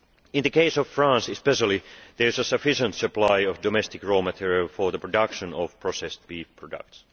In the case of France especially, there is a sufficient supply of domestic raw material for the production of processed beef products.